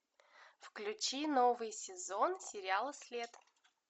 включи новый сезон сериала след